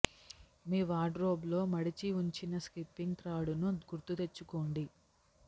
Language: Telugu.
మీ వార్డ్ రోబ్ లో మడిచి ఉంచిన స్కిప్పింగ్ త్రాడును గుర్తు తెచ్చుకోండి